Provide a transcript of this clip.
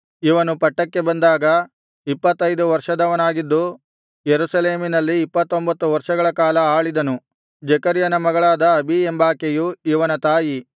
ಇವನು ಪಟ್ಟಕ್ಕೆ ಬಂದಾಗ ಇಪ್ಪತ್ತೈದು ವರ್ಷದವನಾಗಿದ್ದು ಯೆರೂಸಲೇಮಿನಲ್ಲಿ ಇಪ್ಪತ್ತೊಂಭತ್ತು ವರ್ಷಗಳ ಕಾಲ ಆಳಿದನು ಜೆಕರ್ಯನ ಮಗಳಾದ ಅಬೀ ಎಂಬಾಕೆಯು ಇವನ ತಾಯಿ